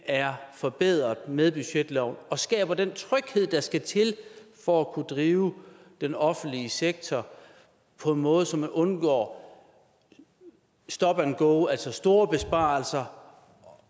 er forbedret med budgetloven og skaber den tryghed der skal til for at kunne drive den offentlige sektor på en måde så man undgår stop and go altså store besparelser